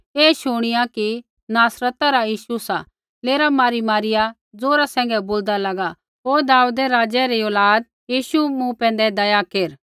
ऐ शुणिया कि नासरता रा यीशु सा लेरा मारीमारिया ज़ोरा सैंघै बोलदा लागा ओ दाऊदै राज़ै री औलाद यीशु मूँ पैंधै दया केर